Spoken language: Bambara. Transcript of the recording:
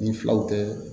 Ni filaw tɛ